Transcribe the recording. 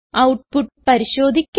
output പരിശോധിക്കാം